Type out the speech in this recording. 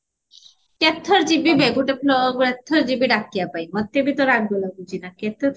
କେତେ ଥର ଜୀବି ବେ ଗୋଟେ floorରୁ ଏତେ ଥର ଯିବି ଡାକିବା ପାଇଁ ମତେ ବି ତ ରାଗ ଲାଗୁଚି ନା କେତେ ଥର